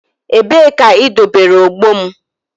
Ebee ka idobere ogbo m?